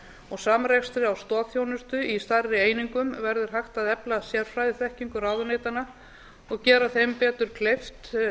og samrekstri á stoðþjónustu í stærri einingum verður hægt að efla sérfræðiþekkingu ráðuneytanna og gera þeim betur kleift